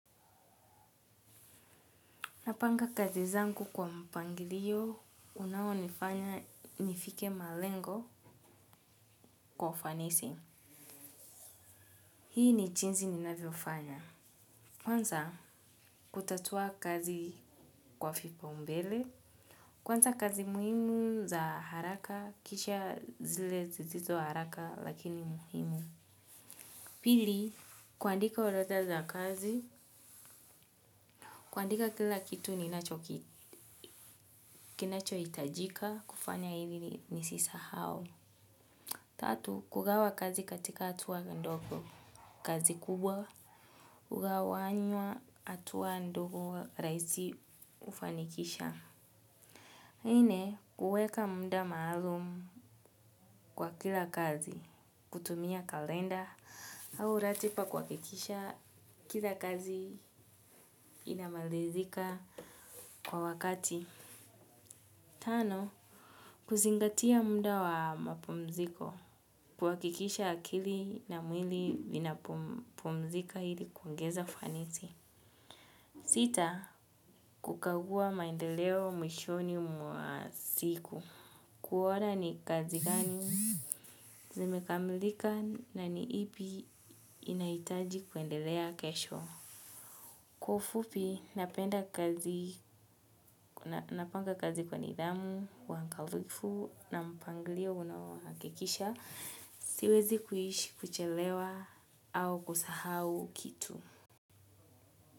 Napanga kazi zangu kwa mpangilio, unaonifanya nifike malengo kwa ufanisi. Hii ni jinsi ninavyofanya. Kwanza, kutatua kazi kwa vipaumbele. Kwanza kazi muhimu za haraka, kisha zile zisizo haraka lakini muhimu. Pili, kuandika orodha za kazi, kuandika kila kitu ninachohitajika, kufanya hivi nisisahau. Tatu, kugawa kazi katika hatua ndogo kazi kubwa, kugawanywa hatua ndogo rahisi kufanikisha. Nne, kuweka muda maalum kwa kila kazi, kutumia kalenda, au ratiba kuhakikisha kila kazi inamalizika kwa wakati. Tano, kuzingatia muda wa mapumziko, kuhakikisha akili na mwili inapumzika hili kuongeza ufanisi. Sita, kukagua maendeleo mwishoni mwa siku. Kuona ni kazi gani, zimekamilika na ni ipi inaitaji kuendelea kesho. Kwa ufupi, napanga kazi kwa nidhamu, uangalifu, na mpangilio unaohakikisha. Siwezi kuishi, kuchelewa, au kusahau kitu.